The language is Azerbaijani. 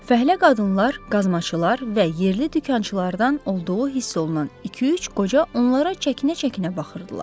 Fəhlə qadınlar, qazmaçılar və yerli dükançılardan olduğu hiss olunan iki-üç qoca onlara çəkinə-çəkinə baxırdılar.